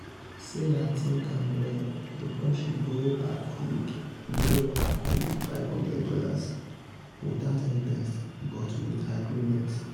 sarah think am well before she borrow her colleague borrow her colleague five hundred dollars without interest but with agreement.